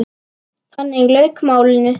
Þannig lauk málinu.